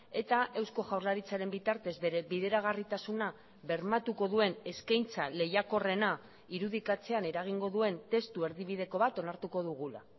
eta eusko jaurlaritzaren bitartez bere bideragarritasuna bermatuko duen eskaintza lehiakorrena irudikatzean eragingo duen testu erdibideko bat onartuko dugula